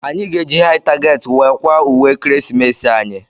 Anyị ga- eji Hai target wee kwaa ùwé ekeresimesi anyị.